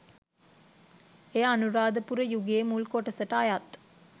එය අනුරාධපුර යුගයේ මුල් කොටසට අයත්